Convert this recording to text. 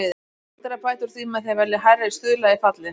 Hægt er að bæta úr því með því að velja hærri stuðla í fallið.